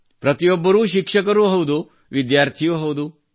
ಪ್ರತಿಯೊಬ್ಬರೂ ಶಿಕ್ಷಕರೂ ಹೌದು ವಿದ್ಯಾರ್ಥಿಯೂ ಹೌದು